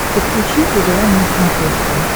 подключи твм на смотрешке